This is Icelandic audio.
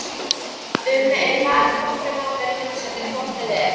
um eru bara nokkrir mánuðir í heimsendi hvort eð er.